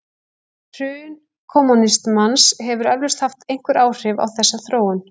Hrun kommúnismans hefur eflaust haft einhver áhrif á þessa þróun.